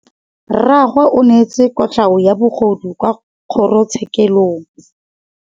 Rragwe o neetswe kotlhaô ya bogodu kwa kgoro tshêkêlông.